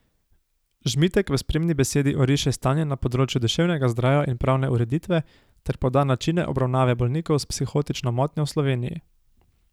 Žmitek v spremni besedi oriše stanje na področju duševnega zdravja in pravne ureditve ter poda načine obravnave bolnikov s psihotično motnjo v Sloveniji.